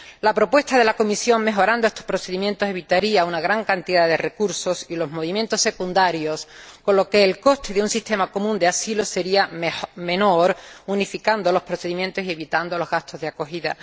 La propuesta de la Comisión, al mejorar estos procedimientos, evitaría una gran cantidad de recursos y los movimientos secundarios, con lo que el coste de un sistema común de asilo sería menor unificando los procedimientos y evitando los gastos de acogida.